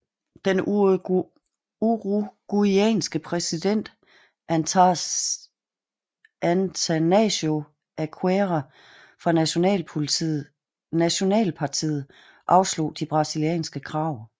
Den uruguayanske præsident Atanásio Aguirre fra nationalpartiet afslog de brasilianske krav